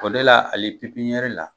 O de la ali pipiyɛri la